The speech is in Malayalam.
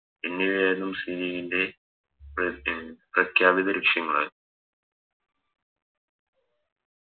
എന്നിവയായിരുന്നു മുസ്ലിം ലീഗിൻറെ പെ അഹ് പ്രഘ്യാപിത ലക്ഷ്യങ്ങള്